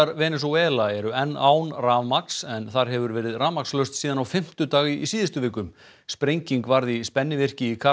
Venesúela eru enn án rafmagns en þar hefur verið rafmagnslaust síðan á fimmtudag í síðustu viku sprenging varð í spennivirki í